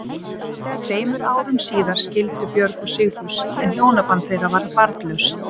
Tveimur árum síðar skildu Björg og Sigfús en hjónaband þeirra var barnlaust.